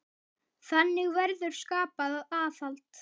Þannig verður skapað aðhald.